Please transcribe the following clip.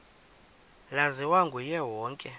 laziwa nguye wonke